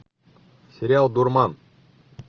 сериал дурман